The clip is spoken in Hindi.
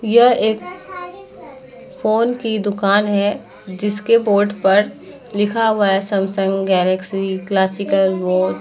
यह एक फ़ोन की दुकान है जिसके बोर्ड पर लिखा हुआ है सैमसंग गैलेक्सी क्लासिकल ऑल।